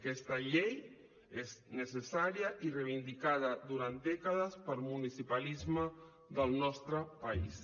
aquesta llei és necessària i reivindicada durant dècades pel municipalisme del nostre país